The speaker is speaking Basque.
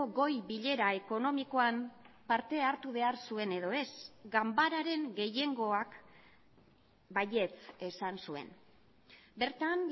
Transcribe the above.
goi bilera ekonomikoan parte hartu behar zuen edo ez ganbararen gehiengoak baietz esan zuen bertan